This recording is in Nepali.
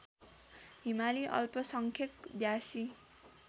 हिमाली अल्पसंख्यक ब्यासी